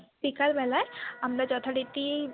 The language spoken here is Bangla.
বিকেলবেলায় আমরা যথারীতি।